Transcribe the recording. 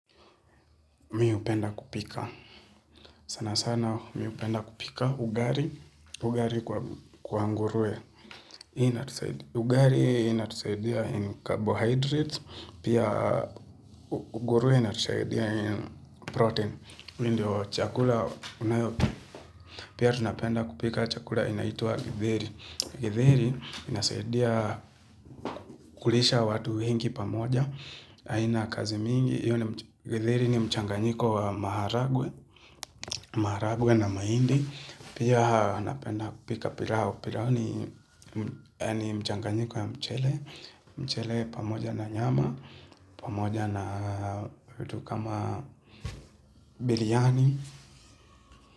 Mi hupenda kupika, sana sana mi hupenda kupika ugali, ugalii kwa nguruwe. Ugali inatusaidia in carbohydrates, pia nguruwe inatusaidia in protein. Hii ndio chakula, unayotu, pia tunapenda kupika chakula inaitwa githeri. Githeri inatusaidia kulisha watu wengi pamoja, haina kazi mingi. Mchanganyiko wa maharagwe, maharagwe na mahindi, pia napenda kupika pilau, pilau ni mchanganyiko wa mchele, mchele pamoja na nyama vitu kama biryiani.